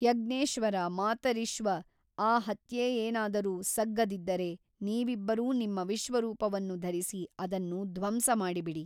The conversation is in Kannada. ಯಜ್ಞೇಶ್ವರ ಮಾತರಿಶ್ವ ಆ ಹತ್ಯೆಯೇನಾದರೂ ಸಗ್ಗದಿದ್ದರೆ ನೀವಿಬ್ಬರೂ ನಿಮ್ಮ ವಿಶ್ವರೂಪವನ್ನು ಧರಿಸಿ ಅದನ್ನು ಧ್ವಂಸಮಾಡಿಬಿಡಿ.